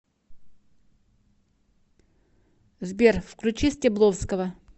сбер включи стебловского